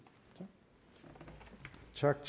tak